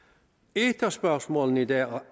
et af spørgsmålene i dag